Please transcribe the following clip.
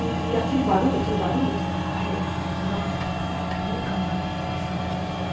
E e aquele barulho, aquele barulho... Aí eu nossa, gente, nunca mais eu fiz isso na minha vida.